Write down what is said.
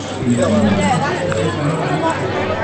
включи мне на смотрешке телеканал бридж тв